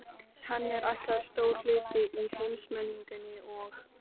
Henni er ætlaður stór hlutur í heimsmenningunni og